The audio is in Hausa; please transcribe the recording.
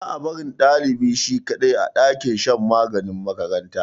Ba a barin dlibi shi kadai, a dakin shan maganin makaranta.